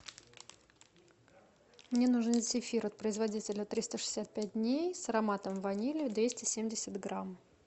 мне нужен зефир от производителя триста шестьдесят пять дней с ароматом ванили двести семьдесят грамм